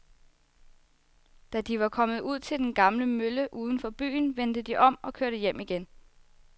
Da de var kommet ud til den gamle mølle uden for byen, vendte de om og kørte hjem igen.